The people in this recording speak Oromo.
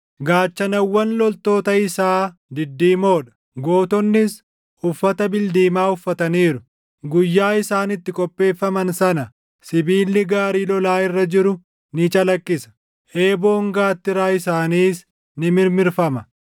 Gaachanawwan loltoota isaa diddiimoo dha; gootonnis uffata bildiimaa uffataniiru. Guyyaa isaan itti qopheeffaman sana, sibiilli gaarii lolaa irra jiru ni calaqqisa; eeboon gaattiraa isaaniis ni mirmirfama.